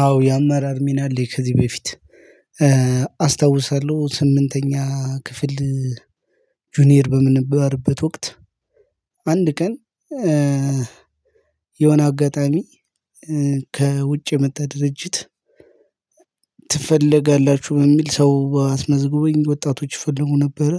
አዎ የአመራር ሚና አለኝ ከዚህ በፊት። አስታውሳለሁ ስምንተኛ ክፍል ጁኒየር በምንባልበል ወቅት። አንድ ቀን። የሆነ አጋጣሚ ከውጭ የመጣ ድርጅት። ትፈልጋላችሁ በሚል ሰው አስመዝግቦኝ ወጣቶች ይፈልጉ ነበረ።